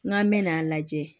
N k'an bɛ n'a lajɛ